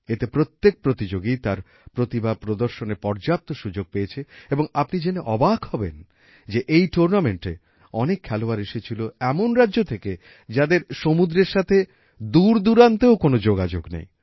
এতে প্রত্যেক প্রতিযোগী তার প্রতিভা প্রদর্শনের পর্যাপ্ত সুযোগ পেয়েছে এবং আপনি জেনে অবাক হবেন যে এই টুর্নামেন্টে অনেক খেলোয়াড় এসেছিল এমন রাজ্য থেকে যাদের সমুদ্রের সাথে দূরদুরান্তেও কোন যোগাযোগ নেই